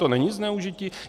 To není zneužití?